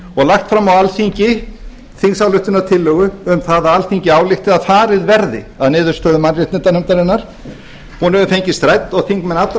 og lagt fram á alþingi þingsályktunartillögu um að alþingi álykti að farið verði að niðurstöðu mannréttindanefndarinnar hún hefur fengist rædd og þingmenn allra